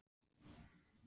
En hvað með Samfylkinguna?